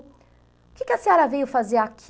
O que que a senhora veio fazer aqui?